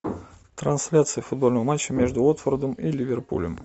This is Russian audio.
трансляция футбольного матча между уотфордом и ливерпулем